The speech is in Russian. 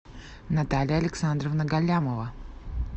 наталья александровна галлямова